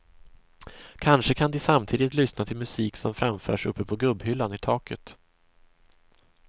Kanske kan de samtidigt lyssna till musik som framförs uppe på gubbhyllan i taket.